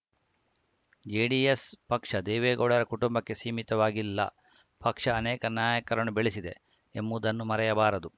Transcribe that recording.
JDS ಪಕ್ಷ ದೇವೇಗೌಡರ ಕುಟುಂಬಕ್ಕೆ ಸೀಮಿತವಾಗಿಲ್ಲ ಪಕ್ಷ ಅನೇಕ ನಾಯಕರನ್ನು ಬೆಳೆಸಿದೆ ಎಂಬುದನ್ನು ಮರೆಯಬಾರದು